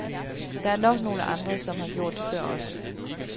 Der er nok nogle andre, som har gjort det før os.